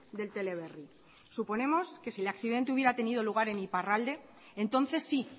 del teleberri suponemos que si el accidente hubiera tenido lugar en iparralde entonces sí